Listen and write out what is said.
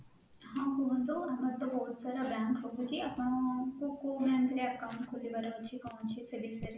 ହଁ କୁହନ୍ତୁ ଆମର ତ ବହୁତ ସାରା bank ରହୁଛି ଆପଣ କୋଉ bank ରେ account ଖୋଲିବାର ଅଛି କଣ ଅଛି ସେ ବିଷୟରେ